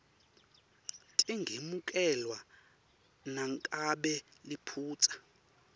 tingemukelwa nangabe liphutsa